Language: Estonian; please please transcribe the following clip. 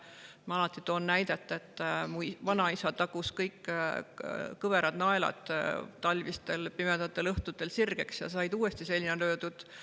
Ma toon alati näite, et mu vanaisa tagus kõik kõverad naelad talvistel pimedatel õhtutel sirgeks ja need said uuesti seina löödud.